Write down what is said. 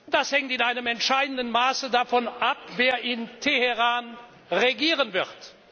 Das hängt in einem entscheidenden Maße davon ab, wer in Teheran regieren wird.